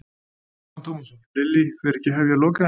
Telma Tómasson: Lillý, fer ekki að hefjast lokaæfing?